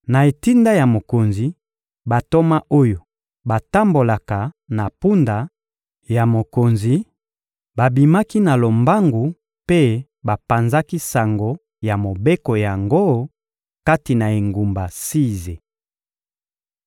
Na etinda ya mokonzi, bantoma oyo batambolaka na mpunda ya mokonzi babimaki na lombangu mpe bapanzaki sango ya mobeko yango kati na engumba Size.